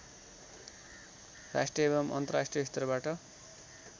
राष्ट्रिय एवं अन्तर्राष्ट्रिय स्तरबाट